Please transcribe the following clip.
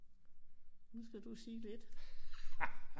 Nu skal du sige lidt